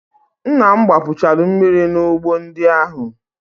Nna m gbapuchalu mmiri n'ugbo ndị ahụ.